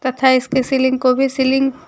तथा इसके सीलिंग को भी सीलिंग --